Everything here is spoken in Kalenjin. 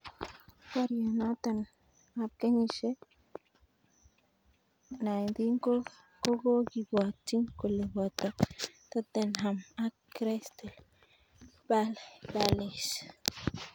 Barnotiot noto ab kenyisiek 19 kokokibwotiin kole boto Tottenham ak Crystal Palace.